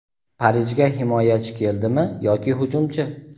Parijga himoyachi keldimi yoki hujumchi?.